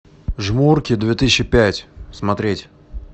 жмурки две тысячи пять смотреть